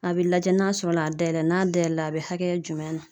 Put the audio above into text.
A bɛ lajɛ n'a sɔrɔ la a dayɛlɛ ,n'a dayɛlɛ la , a bɛ hakɛya jumɛn na.